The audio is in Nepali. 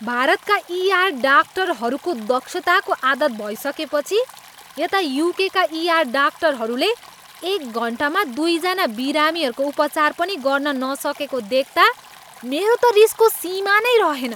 भारतमा ईआर डाक्टरहरूको दक्षताको आदत भइसकेपछि यता युकेका ईआर डाक्टरहरूले एक घन्टामा दुईजना बिरामीहरूको उपचार पनि गर्न नसकेको देख्ता मेरो त रिसको सीमा नै रहेन।